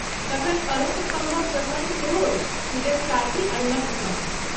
तखन अरुण स्तम्भक प्रसङ्ग सेहो अछि, सूर्यक सारथी अरुणक स्तम्भ।